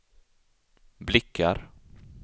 blickar